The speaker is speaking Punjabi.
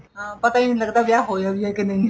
ਹਾਂ ਪਤਾ ਹੀ ਨਹੀਂ ਲੱਗਦਾ ਵਿਆਹ ਹੋਇਆ ਵੀ ਏ ਨਹੀਂ ਹੋਇਆ